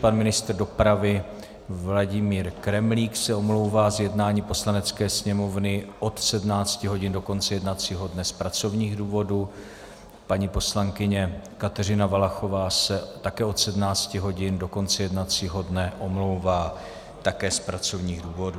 Pan ministr dopravy Vladimír Kremlík se omlouvá z jednání Poslanecké sněmovny od 17 hodin do konce jednacího dne z pracovních důvodů, paní poslankyně Kateřina Valachová se také od 17 hodin do konce jednacího dne omlouvá také z pracovních důvodů.